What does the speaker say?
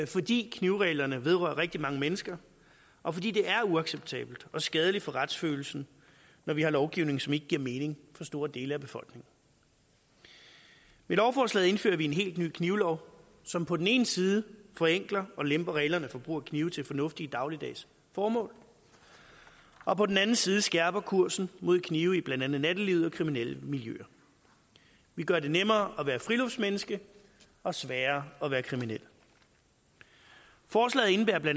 fordi knivreglerne vedrører rigtig mange mennesker og fordi det er uacceptabelt og skadeligt for retsfølelsen når vi har lovgivning som ikke giver mening for store dele af befolkningen med lovforslaget indfører vi en helt ny knivlov som på den ene side forenkler og lemper reglerne for brug af knive til fornuftige dagligdags formål og på den anden side skærper kursen mod knive i blandt andet nattelivet og kriminelle miljøer vi gør det nemmere at være friluftsmenneske og sværere at være kriminel forslaget indebærer bla